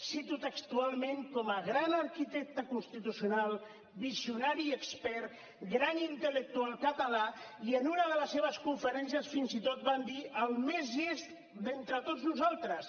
cito textualment com a gran arquitecte constitucional visionari expert gran intel·lectual català i en una de les seves conferències fins i tot van dir el més llest d’entre tots nosaltres